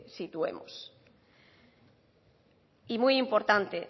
situemos y muy importante